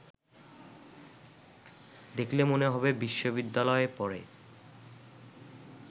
দেখলে মনে হবে বিশ্ববিদ্যালয়ে পড়ে